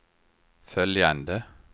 följande